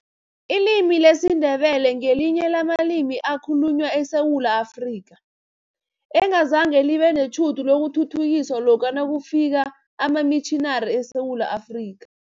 Ilimi lesiNdebele ngelinye lamalimi ekhalunywa eSewula Afrika, engazange libe netjhudu lokuthuthukiswa lokha nakufika amamitjhinari eSewula Afrika.